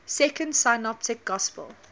second synoptic gospel